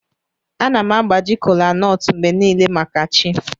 Ana m agbaji kolanut mgbe niile maka chi.